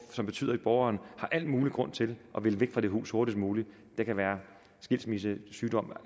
som betyder at borgeren har al mulig grund til at ville væk fra det hus hurtigst muligt det kan være skilsmisse sygdom